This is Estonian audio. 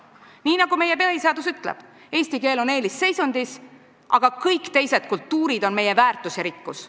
Nii nagu meie põhiseadus ütleb, eesti keel on eelisseisundis, aga kõik teised kultuurid on meie väärtus ja rikkus.